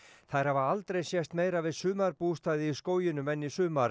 þær hafa aldrei sést meira við sumarbústaði í skóginum en í sumar